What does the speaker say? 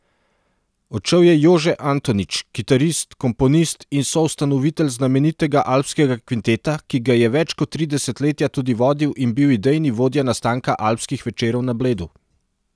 Odšel je Jože Antonič, kitarist, komponist in soustanovitelj znamenitega Alpskega kvinteta, ki ga je več kot tri desetletja tudi vodil in bil idejni vodja nastanka Alpskih večerov na Bledu.